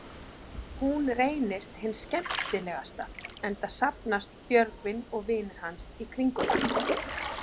Hún reynist hin skemmtilegasta, enda safnast Björgvin og vinir hans í kringum hana.